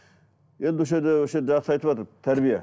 енді осы жерде осы жерде жақсы айтыватыр тәрбие